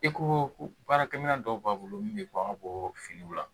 I ko ko baarakɛminɛn dɔw b'a bolo min bɛ bɔ an ka bɔ finiw la